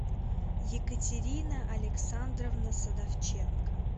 екатерина александровна садовченко